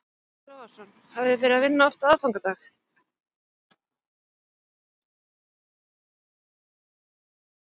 Breki Logason: Hafið þið verið að vinna oft á aðfangadag?